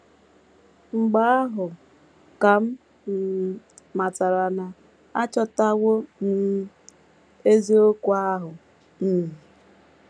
Mgbe ahụ ka m um matara na achọtawo um m eziokwu ahụ um. ”